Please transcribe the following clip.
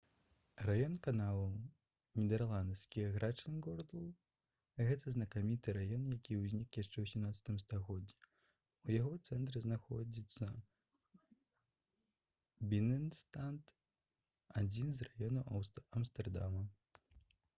раён каналаў нідэрл.: grachtengordel — гэта знакаміты раён які ўзнік яшчэ ў 17 стагоддзі. у яго цэнтры знаходзіцца бінэнстад адзін з раёнаў амстэрдама